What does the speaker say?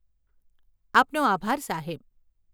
આપનો આભાર સાહેબ.